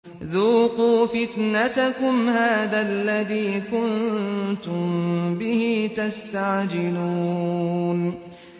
ذُوقُوا فِتْنَتَكُمْ هَٰذَا الَّذِي كُنتُم بِهِ تَسْتَعْجِلُونَ